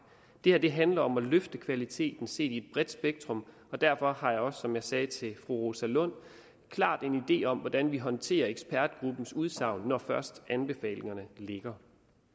det her handler om at løfte kvaliteten set i et bredt spektrum og derfor har jeg også som jeg sagde til fru rosa lund klart en idé om hvordan vi håndterer ekspertgruppens udsagn når først anbefalingerne ligger